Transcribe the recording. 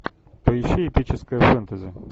поищи эпическое фэнтези